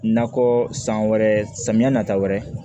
Nakɔ san wɛrɛ samiyɛ na ta wɛrɛ